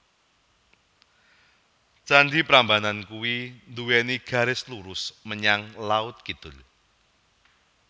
Candi Prambanan kui nduweni garis lurus menyang laut kidul